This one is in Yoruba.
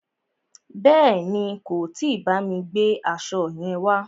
Bèéni, kò tí bámi gbe aṣo yẹn wá.